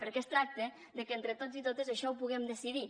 perquè es tracta de que entre tots i totes això ho puguem decidir